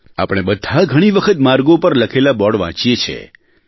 આપણે બધા ઘણી વખત માર્ગો પર લખેલા બોર્ડ વાંચીએ છીએ